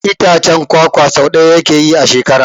Itacen kwakwa so ɗaya yake yi a shekara.